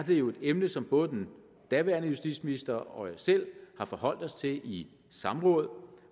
det jo et emne som både den daværende justitsminister og jeg selv har forholdt os til i samråd